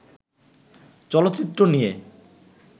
চলচ্চিত্র নিয়ে